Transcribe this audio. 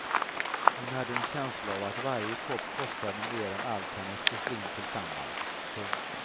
Hon hade en känsla av att varje kopp kostade mer än allt hennes porslin tillsammans. punkt